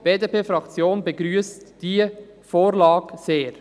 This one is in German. Die BDP-Fraktion begrüsst diese Vorlage sehr.